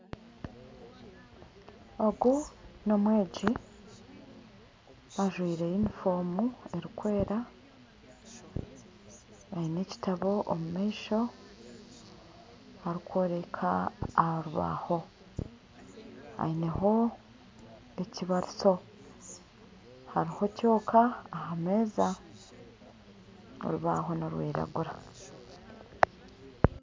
Ogu n'omwegi ajwire yunifoomu erikwera aine ekitabo omu maisho arikworeka aha rubaho, aineho ekibarisho hariho kyoka aha meeza orubaho nirwiragura